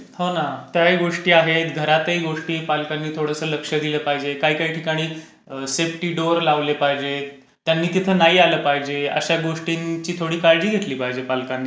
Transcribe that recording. हो ना. त्याही गोष्टी आहेत. घरातही पालकांनी गोष्टी थोडसं लक्ष दिलं पाहिजे. काही काही ठिकाणी सेफ्टी डोर लावले पाहिजेत. त्यांनी तिथे नाही आलं पाहिजे. अशा गोष्टींची थोडी काळजी घेतली पाहिजे पालकांनी पण.